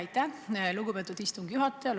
Aitäh, lugupeetud istungi juhataja!